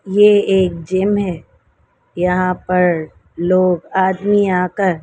ये एक जिम है यहां पर लोग आदमी आकर--